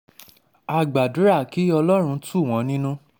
a gbàdúrà kí ọlọ́run tù wọ́n nínú um